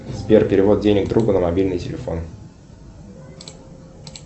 сбер перевод денег другу на мобильный телефон